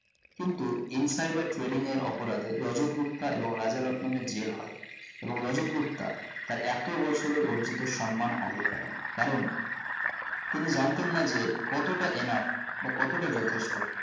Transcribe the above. কিন্তু insider trading এর অপরাধে রাজাত গুপ্তা এবং রাজা রতনং এর জেল হয় এবং রাজাত গুপ্তা তার এতো বছরের অর্জিত সম্মান হারিয়ে ফেলেন কারণ তিনি জানতেন না যে কতটা enough বা কতটা যথেষ্ট